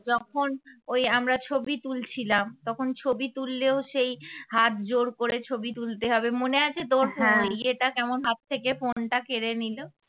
যখন ওই আমরা ছবি তুলছিলাম তখন ছবি তুললেও সেই হাত জোড় করে ছবি তুলতে হবে মনে আছে তোমার ইয়েটা কেমন হাত থেকে phone টা কেড়ে নিল?